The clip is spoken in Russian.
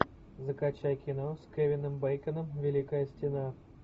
закачай кино с кевином бэйконом великая стена